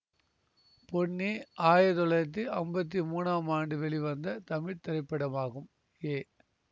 பொன்னி ஆயிரத்தி தொள்ளாயிரத்தி அம்பத்தி மூன்னாம் ஆண்டு வெளிவந்த தமிழ் திரைப்படமாகும் ஏ